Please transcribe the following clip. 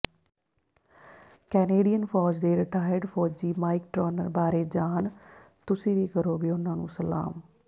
Canadian ਫੌਜ ਦੇ retired ਫੌਜੀ ਮਾਈਕ ਟਰੌਨਰ ਬਾਰੇ ਜਾਣ ਤੁਸੀਂ ਵੀ ਕਰੋਗੇ ਉਨ੍ਹਾਂ ਨੂੰ ਸਲਾਮ